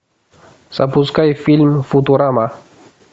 запускай фильм футурама